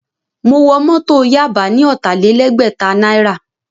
Mo wọ Mọ́tọ̀ Yaba ní ọ̀tàlélẹgbẹ̀ta náírà